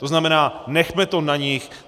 To znamená, nechme to na nich!